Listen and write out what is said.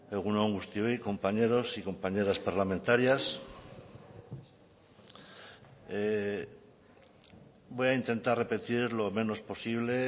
egun on guztioi compañeros y compañeras parlamentarias voy a intentar repetir lo menos posible